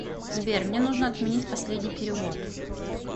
сбер мне нужно отменить последний перевод